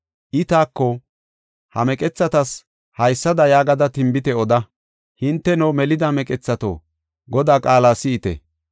I taako, “Ha meqethatas haysada yaagada tinbite oda; hinteno, melida meqethato, Godaa qaala si7ite.